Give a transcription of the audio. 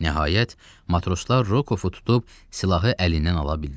Nəhayət, matroslar Rokovu tutub silahı əlindən ala bildilər.